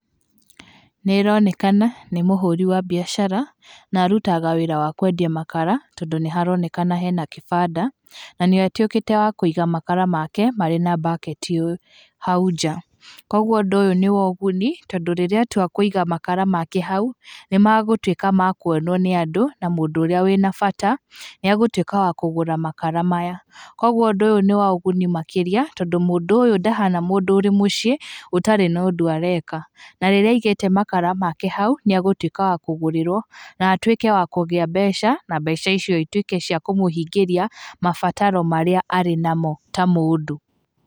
Nĩĩronekana nĩ mũhũri wa biacara, na arutaga wĩra wa kwendia makara, tondũ nĩharonekana hena kibanda na nĩ atuĩkĩte wa kũiga makara make mari na mbaketi hau njaa. Kogwo ũndũ ũyũ nĩ wa ũguni tondũ rĩrĩa atua kũiga makara make hau, nĩmagũtuĩka ma kuonwo nĩ andũ na mũndũ ũrĩa wĩna bata, nĩ agũtuĩka wa kũgũra makara maya. Kogwo ũndũ ũyũ nĩ wa kĩguni makĩria tondũ mũndũ ũyũ ndahana mũndũ ũrĩ mũciĩ, ũtarĩ na ũndũ areka. Na rĩrĩa aigĩte makara make hau, nĩagũtuĩka wa kũgũrĩrwo na atuĩke wa kũgĩa mbeca, na mbeca icio ituĩke cia kũmũhingĩria, mabataro marĩa arĩ namo.